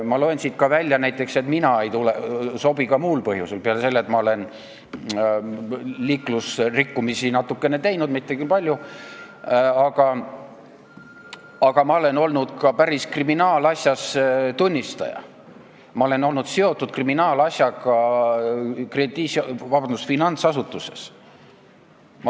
Ma loen siit näiteks välja, et mina ei sobi ka muul põhjusel peale selle, et ma olen natukene liiklusrikkumisi toime pannud, mitte küll palju, aga ma olen olnud ka päris kriminaalasjas tunnistaja, ma olen olnud seotud kriminaalasjaga finantsasutuses.